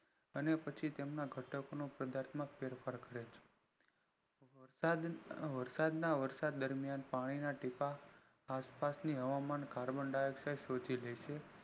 અને પછી તેના ઘટકો ના પદાર્થમાં ફેરફાર કરે છે વરસાદ ના દરમિયાન પાણી ના ટીપા આસપાસ ની હવામાન carbon dioxide ને શોષી લે છે